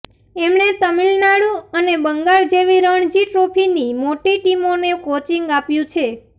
એમણે તામિલ નાડુ અને બંગાળ જેવી રણજી ટ્રોફીની મોટી ટીમોને કોચિંગ આપ્યું છે